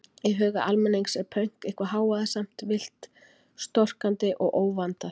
Í huga almennings er pönk eitthvað hávaðasamt, villt, storkandi og óvandað.